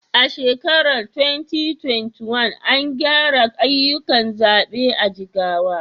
A shekarar 2021, an gyara ayyukan zaɓe a Jigawa.